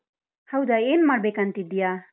ಹೌದಾ, ಏನ್ ಮಾಡ್ಬೇಕಂತಿದ್ದೀಯಾ?